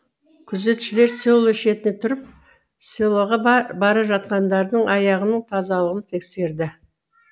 күзетшілер село шетіне тұрып селоға бара жатқандардың аяғының тазалығын тексерді